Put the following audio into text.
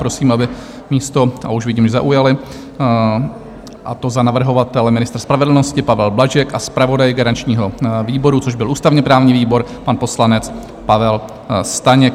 Prosím, aby místo - a už vidím, že zaujali, a to za navrhovatele ministr spravedlnosti Pavel Blažek a zpravodaj garančního výboru, což byl ústavně-právní výbor, pan poslanec Pavel Staněk.